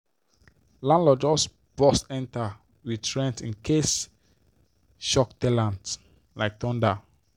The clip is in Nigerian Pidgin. landlorld just burst enter with rent incasee shock ten ant like thunder.